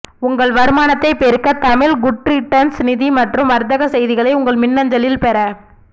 உங்கள் வருமானத்தைப் பெருக்கத் தமிழ் குட்ரிட்டன்ஸ் நிதி மற்றும் வர்த்தகச் செய்திகளை உங்கள் மின்னஞ்சலில் பெற